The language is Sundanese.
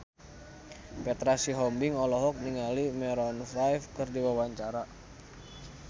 Petra Sihombing olohok ningali Maroon 5 keur diwawancara